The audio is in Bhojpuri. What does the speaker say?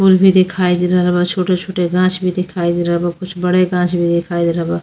फुल भी दिखाई दे रहल बा। छोटे-छोटे गाँछ भी दिखाई दे रहल बा। कुछ बड़े गाँछ भी दिखाई दे रहल बा।